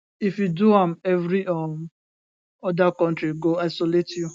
if you do am every um oda kontri go isolate you